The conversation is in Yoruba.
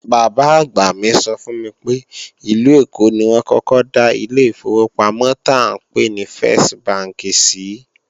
Bàbá-àgbà mi sọ fún mi pé ìlú Èkó ni wọ́n kọ́kọ́ dá ilé ìfowópamọ́ tá ńpè ní fẹ́s bánkì sìí